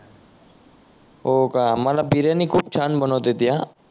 हो का मला बिर्याणी खूप छान बनवता येते